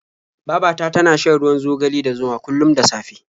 Baba ta tana shan ruwan zogale da zuma kullum da safe.